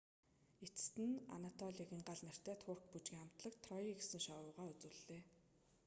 эцэст нь анатолиагийн гал нэртэй турк бүжгийн хамтлаг трой гэсэн шоугаа үзүүллээ